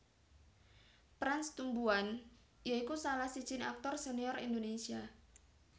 Prans Tumbuan ya iku salah sijiné aktor senior Indonésia